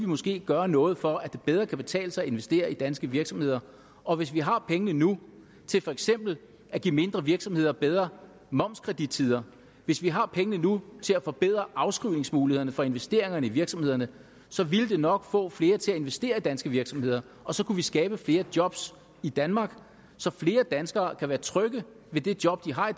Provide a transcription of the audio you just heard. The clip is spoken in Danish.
vi måske gøre noget for at det bedre kan betale sig at investere i danske virksomheder og hvis vi har pengene nu til for eksempel at give mindre virksomheder bedre momskredittider hvis vi har pengene nu til at forbedre afskrivningsmulighederne for investeringerne i virksomhederne så ville det nok få flere til at investere i danske virksomheder og så kunne vi skabe flere jobs i danmark så flere danskere kan være trygge ved det job de har